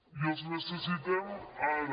i els necessitem ara